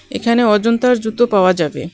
এখানে অজন্তার জুতো পাওয়া যাবে।